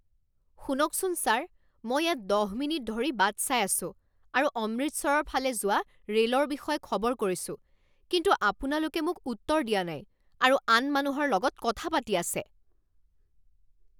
শুনকচোন ছাৰ! মই ইয়াত দহ মিনিট ধৰি বাট চাই আছো আৰু অমৃতসৰৰ ফালে যোৱা ৰে'লৰ বিষয়ে খবৰ কৰিছোঁ কিন্তু আপোনালোকে মোক উত্তৰ দিয়া নাই আৰু আন মানুহৰ লগত কথা পাতি আছে।